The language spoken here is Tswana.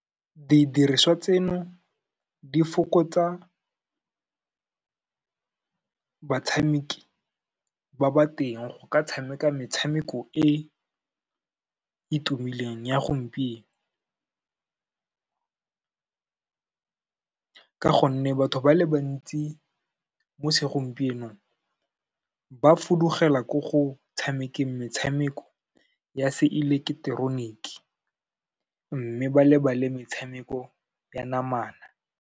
Didiriswa tseno di fokotsa batshameki ba ba teng go ka tshameka metshameko e e tumileng ya gompieno, ka gonne batho ba le bantsi mo segompienong ba fudugela ko go tshamekeng metshameko ya se eleketeroniki, mme ba lebale metshameko ya namana.